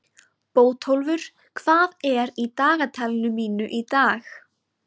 Bótólfur, hvað er í dagatalinu mínu í dag?